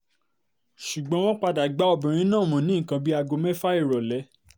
ṣùgbọ́n wọ́n padà gbá obìnrin náà mú ní nǹkan bíi aago mẹ́fà ìrọ̀lẹ́